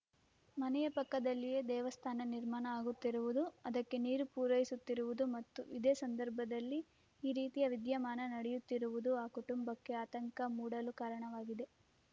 ಮನೆಯ ಪಕ್ಕದಲ್ಲಿಯೇ ದೇವಸ್ಥಾನ ನಿರ್ಮಾಣ ಆಗುತ್ತಿರುವುದು ಅದಕ್ಕೆ ನೀರು ಪೂರೈಸುತ್ತಿರುವುದು ಮತ್ತು ಇದೇ ಸಂದರ್ಭದಲ್ಲಿ ಈ ರೀತಿಯ ವಿದ್ಯಮಾನ ನಡೆಯುತ್ತಿರುವುದು ಆ ಕುಟುಂಬಕ್ಕೆ ಆತಂಕ ಮೂಡಲು ಕಾರಣವಾಗಿದೆ